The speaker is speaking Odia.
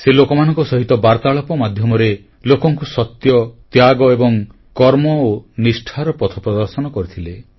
ସେ ଲୋକମାନଙ୍କ ସହିତ ବାର୍ତ୍ତାଳାପ ମାଧ୍ୟମରେ ଲୋକଙ୍କୁ ସତ୍ୟ ତ୍ୟାଗ ଏବଂ କର୍ମ ଓ ନିଷ୍ଠାର ପଥ ପ୍ରଦର୍ଶନ କରିଥିଲେ